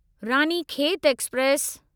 Ranikhet express